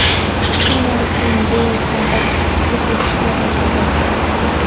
Shundan keyin Beyl kamroq yiqilishni boshladi.